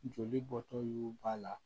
Joli bɔtɔ y'u b'a la